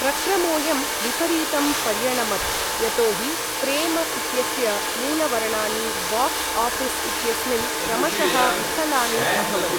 प्रक्रमोयं विपरीतं पर्यणमत् यतोहि प्रेम इत्यस्य मूलवरणानि बाक्स् आऴीस् इत्यस्मिन् क्रमशः विफलानि अभवन्।